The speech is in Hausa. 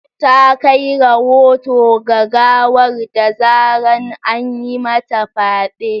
ta kai rahoto ga gawar da zarar an yi mata fyade.